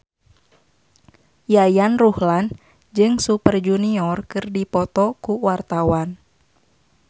Yayan Ruhlan jeung Super Junior keur dipoto ku wartawan